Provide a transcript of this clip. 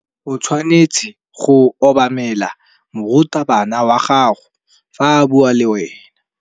O tshwanetse go obamela morutabana wa gago fa a bua le wena.